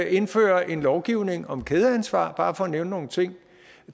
indføre en lovgivning om kædeansvar bare for at nævne nogle ting